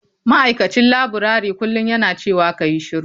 Ma'aikacin laburare kullum yana cewa kayi shiru.